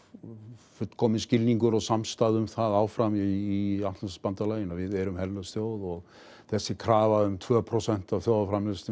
fullkominn skilningur og samstaða um það áfram í Atlantshafsbandalaginu að við erum herlaus þjóð og þessi krafa um tvö prósent af þjóðarframleiðslunni